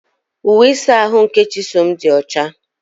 Uwe ịsa ahụ nke Chisom dị ọcha.